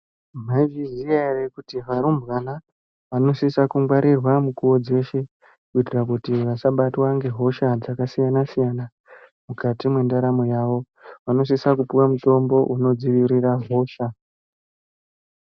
Maizviziya ere kuti varumbwana vanosisa kungwarirwa mukuwo dzeshe kuitira kuti vasabatwa ngehosha dzakasiyana-siyana mukati mwendaramo yavo. Vanosisa kupuwa mutombo unodziirira hosha.